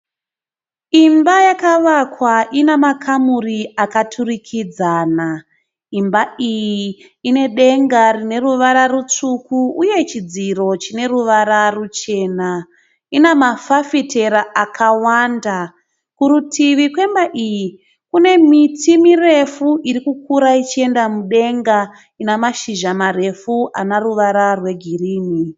Imba yakavakwa inemakamuri akaturikidzana. Imba iyi inedenga rineruvara rutsvuku uye chidziro chineruvara ruchena. Inamafafitera akawanda. Kurutivi kwemba iyi kune miti mirefu irikukura ichienda mudenga inemazhizha marefu ane ruvara rwegirini.